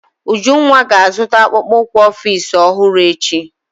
Ujunwa ga-azụta akpụkpọ ụkwụ Ọfịs ọhụrụ echi.